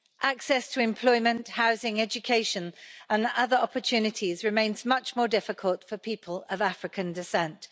Access to employment, housing, education and other opportunities remains much more difficult for people of African descent.